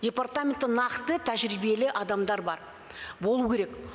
департаменті нақты тәжірибелі адамдар бар болу керек